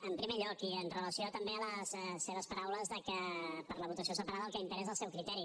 en primer lloc i amb relació també a les seves paraules de que per la votació separada el que impera és el seu criteri